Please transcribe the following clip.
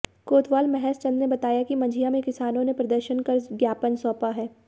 कोतवाल महेश चंद ने बताया कि मझिया में किसानों ने प्रदर्शन कर ज्ञापन सौंपा है